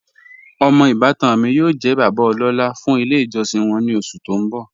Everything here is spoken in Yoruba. Omọ ibàtan mi yóò jẹ̀ bàbá ọlọ́la fún ilẹ̀ ijọsin wọn ni oṣù tó n bọ́.